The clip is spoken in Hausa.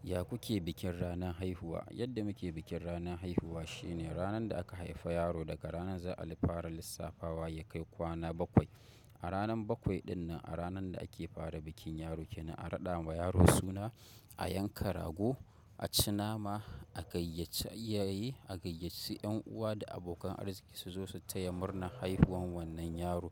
Ya ku ke bikin ranar haihuwa? Yadda muke bikin ranar haihuwa shine ranar da aka haifi yaro daga ranar za a fara lissafawa ya kai kwana bakwai. A ranar bakwai dinnan, a ranar da ake fara bikin yaro kenan a raɗa wa yaro suna, a yanka rago, a ci nama, a gayyaci iyaye, a gayyaci 'yan uwa da abokan arziki su zo su taya murnar haihuwan wannan yaro